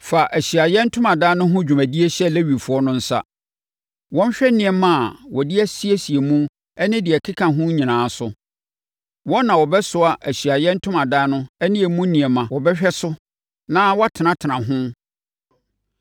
Fa Ahyiaeɛ Ntomadan no ho dwumadie hyɛ Lewifoɔ no nsa. Wɔnhwɛ nneɛma a wɔde asiesie mu ne deɛ ɛkeka ho nyinaa so. Wɔn na wɔbɛsoa Ahyiaeɛ Ntomadan no ne emu nneɛma, wɔbɛhwɛ so na wɔatenatena ho.